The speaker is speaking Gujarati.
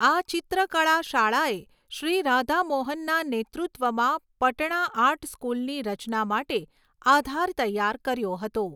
આ ચિત્રકળા શાળાએ શ્રી રાધા મોહનના નેતૃત્વમાં પટણા આર્ટ સ્કૂલની રચના માટે આધાર તૈયાર કર્યો હતો.